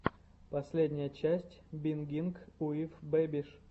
последняя часть бингинг уив бэбиш